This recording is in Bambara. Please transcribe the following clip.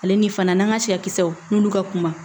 Ale ni fana n'an ka siya kisɛw n'olu ka kuma